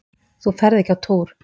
Þú ferð ekki á túr!